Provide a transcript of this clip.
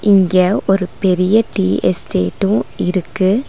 இங்க ஒரு பெரிய டீ எஸ்டேட்டு இருக்கு.